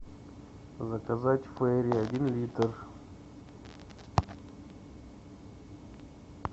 заказать фейри один литр